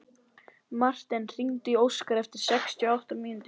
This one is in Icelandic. Marten, hringdu í Óskar eftir sextíu og átta mínútur.